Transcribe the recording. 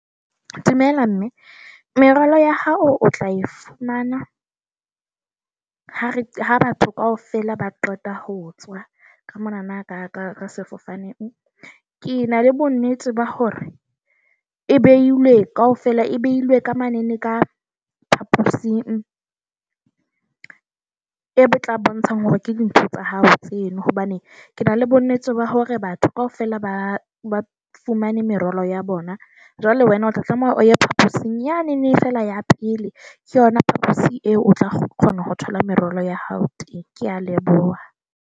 Dumela, mme. Merwalo ya hao o tla e fumana ha re ha batho kaofela ba qeta ho tswa ka monana ka ka sefofaneng. Ke na le bonnete ba hore e behilwe kaofela, e behilwe ka mane le ka phaposing e tla bontshang hore ke dintho tsa hao tseno hobane ke na le bonnete ba hore batho kaofela ba ba fumane merwalo ya bona. Jwale wena o tla tlameha o ye phaposing yane fela, ya pele. Ke yona phaposi eo o tla kgona ho thola merwalo ya hao teng. Ke a leboha.